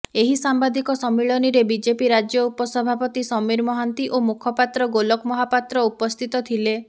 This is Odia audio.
ଏହି ସାମ୍ବାଦିକ ସମ୍ମିଳନୀରେ ବିଜେପି ରାଜ୍ୟ ଉପସଭାପତି ସମୀର ମହାନ୍ତି ଓ ମୁଖପାତ୍ର ଗୋଲକ ମହାପାତ୍ର ଉପସ୍ଥିତ ଥିଲେ